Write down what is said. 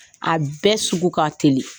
A bɛɛ sugu ka teli.